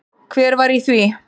Hver var í því?